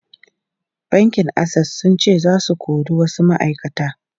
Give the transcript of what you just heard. Bankin Access sun ce za su kori wasu ma’aikata.